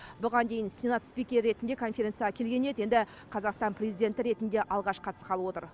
бұған дейін сенат спикері ретінде конференцияға келген еді енді қазақстан президенті ретінде алғаш қатысқалы отыр